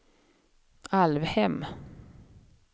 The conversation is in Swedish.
Alvhem